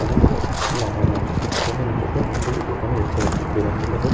অনেক গুলো এ.সি. লাগানো আছে এবং নীচেতে অনেক গুলো দোকান ও দেখতে পাচ্ছি। দোকান গুলি এখন--